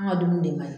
An ka dumuni de man ɲi